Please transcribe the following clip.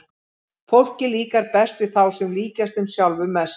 Fólki líkar best við þá sem líkjast þeim sjálfum mest.